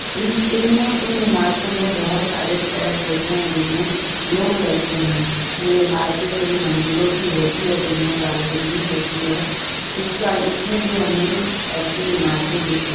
इंस इन इमारतों में बहोत सारे फ्लैट होते हैं। जिसमें लोग रहते हैं। ये इमारतें कई मंजिलों की होती हैं और जिनमें बालकनी होती है। इस बा इसमें भी हमें ऐसी इमारतें दिख रही --